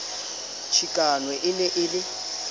chikano e ne e le